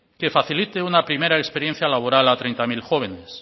que facilite una primera experiencia laboral a treinta mil jóvenes